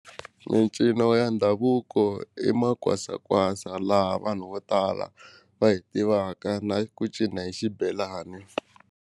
Mincino ya ndhavuko i ma kwasa kwasa laha vanhu vo tala va hi tivaka na ku cina hi xibelani.